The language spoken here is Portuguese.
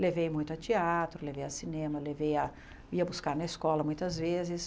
Levei muito a teatro, levei a cinema, levei a ia buscar na escola muitas vezes.